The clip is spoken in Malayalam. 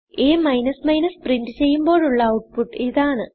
അ പ്രിന്റ് ചെയ്യുമ്പോഴുള്ള ഔട്ട്പുട്ട് ഇതാണ്